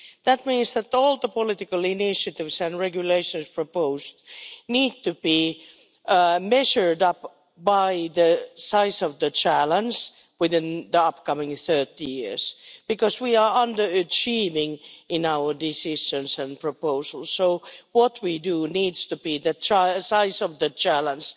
That means that all the political initiatives and regulations proposed need to be measured up by the size of the challenge within the next 30 years, because we are underachieving in our decisions and proposals. So what we do needs to equal the size of the challenge,